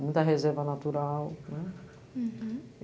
Muita reserva natural. Hurum.